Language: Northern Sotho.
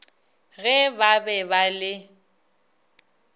ge ba be ba le